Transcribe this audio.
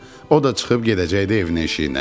O da çıxıb gedəcəkdi evinə eşiyinə.